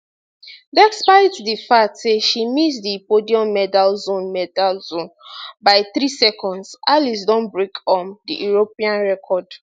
despite di fact say she miss di podium medal zone medal zone by 3 seconds alice don break um di european record